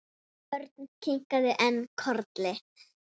Hún skipti hann engu máli.